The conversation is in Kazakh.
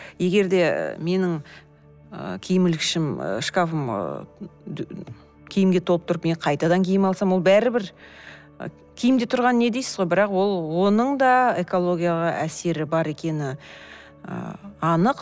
егер де менің ы киім ілгішім ы шкафым киімге толып тұрып мен қайтадан киім алсам ол бәрбір киімде тұрған не дейсіз ғой бірақ ол оның да экологияға әсері бар екені і анық